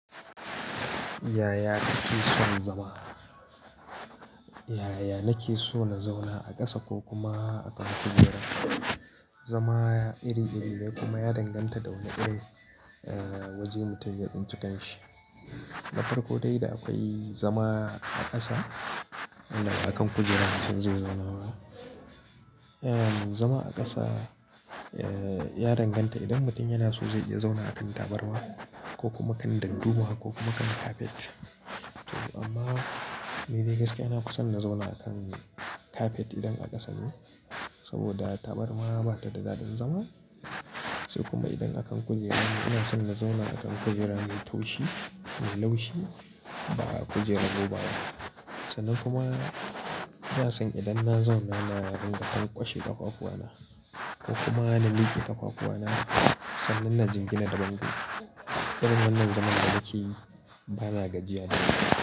Yaya nake son zama? Yaya nake so na zauna a ƙasa ko kuma a kan kujera? Zama iri-iri ne kuma ya danganta da wane irin waje mutum ya tsinci kan shi. Na farko dai da akwai zama a ƙasa inba akan kujera mutum zai zauna. Zama a ƙasa ya danganta idan mutum yana so zai iya zauna akan tabarma ko kuma kan dadduma ko kuma kan kafet. To amma ni dai gaskiya na fison na zauna akan kafet idan a ƙasa ne, saboda tabarma bata da dadin zama. Sai kuma idan akan kujera, ina son na zauna akan kujera mai taushi, mai laushi, ba kujerar robaba. Sannan kuma ina son idan na zauna na dinga lan ƙwashe ƙafafuwana ko kuma na mike ƙafafuwana sannan na jingina da bangon. Irin wannan zaman da nake yi bana gajiya da ita.